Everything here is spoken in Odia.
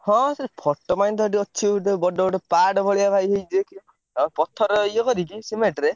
ହଁ ସେ photo ପାଇଁ ତ ସେଠି ଅଛି ଗୋଟେ ବଡ ବଡ ପାହାଡ ଭଳିଆ ବହି ହେଇଚି ଆଉ ପଥର ଇଏ କରିକି ସିମେଣ୍ଟରେ।